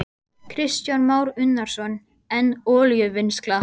Kristján Már Unnarsson: En olíuvinnsla?